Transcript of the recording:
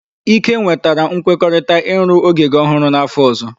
Ike nwetara nkwekọrịta ịrụ ogige ọhụrụ n'afọ ọzọ.